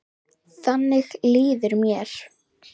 Þannig líður mér.